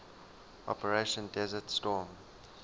operation desert storm